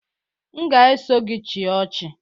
M ga-eso gị chịa ọchị